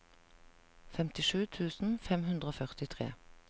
femtisju tusen fem hundre og førtitre